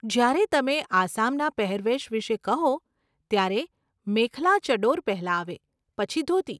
જ્યારે તમે આસામના પહેરવેશ વિષે કહો, ત્યારે મેખલા ચડોર પહેલાં આવે, પછી ધોતી.